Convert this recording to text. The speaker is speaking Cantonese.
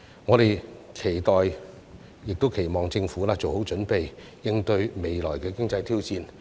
我們期待亦期望政府做好準備，應對未來的經濟挑戰。